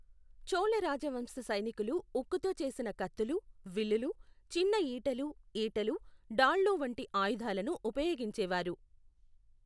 చోళ రాజవంశ సైనికులు ఉక్కుతో చేసిన కత్తులు, విల్లులు, చిన్నఈటెలు, ఈటెలు, డాళ్లు వంటి ఆయుధాలను ఉపయోగించేవారు.